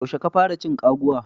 Yaushe ka fara cin kwaguwa.